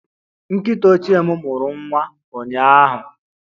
Nkịta ochie m mụrụ nwa ụnyaahụ